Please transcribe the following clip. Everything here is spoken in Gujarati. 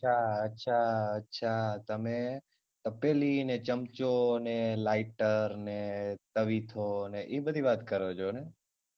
અચ્છા અચ્છા અચ્છા તમે પેલી ને ચમચો ને lighter ને તવીથો ને ઇ બધી વાત કરો છો ને?